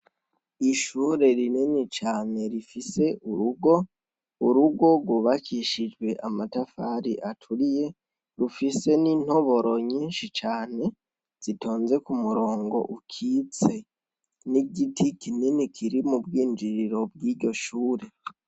Ishure rinini cane rifise urugo, urugo rwubakishijwe amatafari aturiye, rufise n’intoboro nyishi cane zitonze kumurongo ukitse. N’igiti kinini kiri mubwinjiriro bwiryo shuri.